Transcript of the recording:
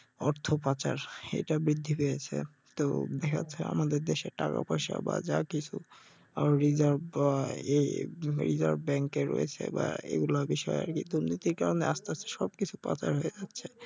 অর্থপাচার এটা বৃদ্ধি পেয়েছে, তো এ হচ্ছে আমাদের দেশে টাকা পয়সা বা যা কিছু আর রিজার্ভ আহ বা রিজার্ভ ব্যাংকে রয়েছে বা এইগুলা বিষয়ে আরকি দুর্নীতির কারণে আস্তে আস্তে সবকিছু পতন হয়ে যাচ্ছে